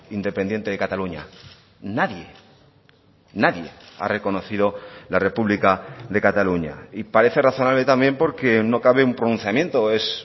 independiente de cataluña nadie nadie ha reconocido la república de cataluña y parece razonable también porque no cabe un pronunciamiento es